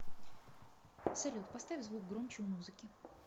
салют поставь звук громче у музыки